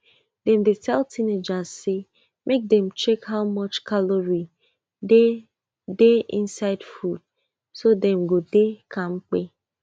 dem dey tell teenagers say make dem check how much calorie dey dey inside food so dem go dey kampe